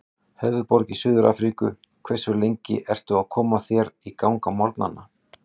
Höfðaborg í Suður-Afríku Hversu lengi ertu að koma þér í gang á morgnanna?